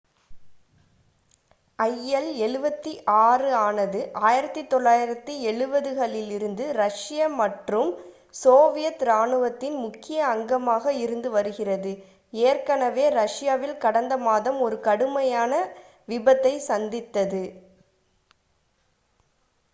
il-76 ஆனது 1970களிலிருந்து இரஷ்ய மற்றும் சோவியத் இராணுவத்தின் முக்கிய அங்கமாக இருந்து வருகிறது ஏற்கனவே ரஷ்யாவில் கடந்த மாதம் ஒரு கடுமையான விபத்தைச் சந்தித்தது